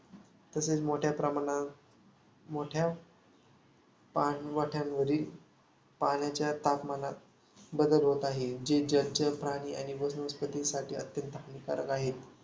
तसेच मोठ्या प्रमाणावर मोठ्या पाणवठ्यांवरील पाण्यात तापमानात बदल होत आहे. जे जलचर प्राणी आणि वनस्पतींसाठी अत्यंत हानिकारक आहे.